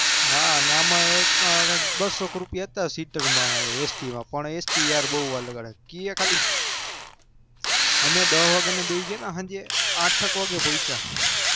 હ બસો રૂપિયા હતા સીટર માં st માં બઉ અલગ અલગ અમે દસ વાગ્યા ના પોચેયા બઉ અલગ